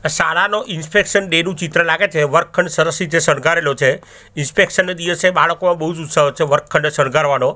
આ શાળાનો inspection day નું ચિત્ર લાગે છે વર્ગખંડ સરસ રીતે શણગારેલો છે ઇન્સ્પેકશન ના દિવસે બાળકો બોજ ઉત્સવ છે વર્ગખંડ શણગારવાનો.